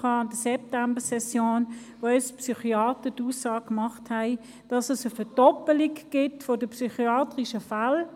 Wir hatten in der September session eine Mittagsveranstaltung, wo ein Psychiater die Aussage machte, bei Kindern gebe es eine Verdoppelung der psychiatrischen Fälle.